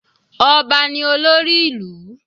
Ọba ni olórí ìlú.